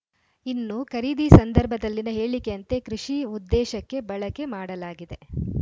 ಇನ್ನು ಖರೀದಿ ಸಂದರ್ಭದಲ್ಲಿನ ಹೇಳಿಕೆಯಂತೆ ಕೃಷಿ ಉದ್ದೇಶಕ್ಕೆ ಬಳಕೆ ಮಾಡಲಾಗಿದೆ